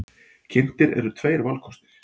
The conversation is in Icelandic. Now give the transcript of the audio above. Kynntir eru tveir kostir.